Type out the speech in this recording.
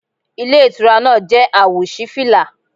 Ilé Ìtura náà jẹ́ àwò sí fìlà